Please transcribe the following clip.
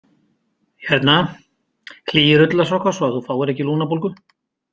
Hérna, hlýir ullarsokkar svo að þú fáir ekki lungnabólgu